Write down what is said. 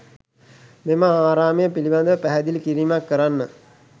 මෙම ආරාමය පිළිබඳව පැහැදිලි කිරීමක් කරන්න.